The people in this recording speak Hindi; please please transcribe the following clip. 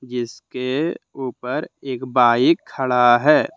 इसके ऊपर एक बाइक खड़ा है।